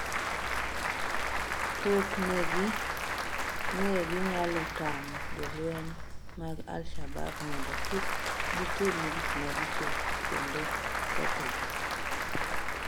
"Pok ne gi, ne ginyalo tamo jolweny mag Al Shaabab mondo kik gitim gik maricho kendo kethogi."""